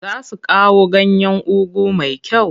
Za su kawo ganyan ugu mai kyau.